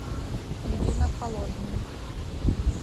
ирина холодная